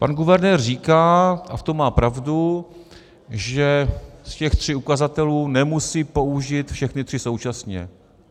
Pan guvernér říká, a v tom má pravdu, že z těch tří ukazatelů nemusí použít všechny tři současně.